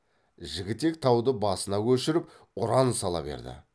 жігітек тауды басына көшіріп ұран сала берді